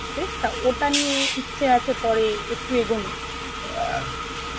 টা ওটা নিয়ে ইচ্ছে আছে, পরে একটু এগোনোর